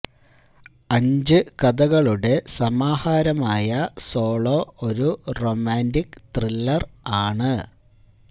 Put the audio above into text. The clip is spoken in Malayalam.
അഞ്ച് കഥകളുടെ സമാഹാരമായ സോളോ ഒരു റൊമാന്റിക് ത്രില്ലർ ആണ്